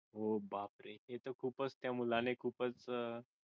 ohh बापरे हे तर खूपच त्या मुलाने खूपच अह